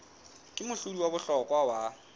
ke mohlodi wa bohlokwa wa